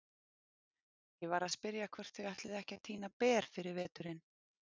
Ég var að spyrja hvort þau ætluðu ekki að tína ber fyrir veturinn.